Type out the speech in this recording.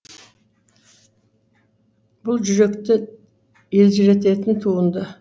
бұл жүректі елжірететін туынды